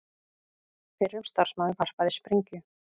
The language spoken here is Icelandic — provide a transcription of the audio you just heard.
Fyrrum starfsmaður varpaði sprengju